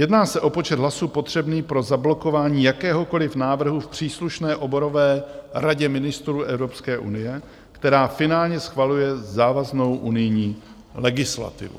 Jedná se o počet hlasů potřebných pro zablokování jakéhokoliv návrhu v příslušné oborové radě ministrů Evropské unie, která finálně schvaluje závaznou unijní legislativu.